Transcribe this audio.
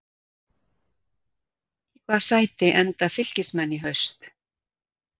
Í hvaða sæti enda Fylkismenn í haust?